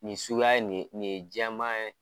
Nin suguya ye nin nin ye jɛman ye